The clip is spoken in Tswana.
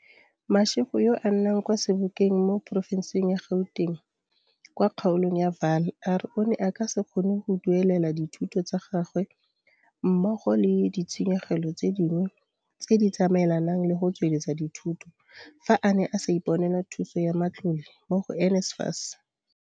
Mashego yo a nnang kwa Sebokeng mo porofenseng ya Gauteng kwa kgaolong ya Vaal a re o ne a ka se kgone go duelela dithuto tsa gagwe mmogo le di tshenyegelo tse dingwe tse di tsamaelanang le go tsweletsa dithuto fa a ne a sa iponela thuso ya matlole mo go NSFAS.